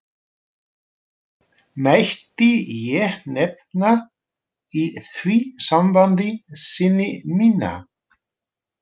Mætti ég nefna í því sambandi syni mína.